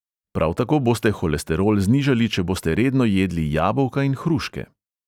Prav tako boste holesterol znižali, če boste redno jedli jabolka in hruške.